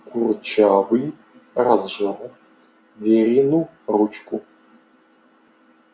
курчавый разжал верину ручку